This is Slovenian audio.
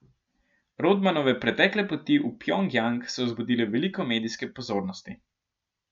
Rodmanove pretekle poti v Pjongjang so vzbudile veliko medijske pozornosti.